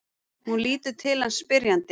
Hún lítur til hans spyrjandi.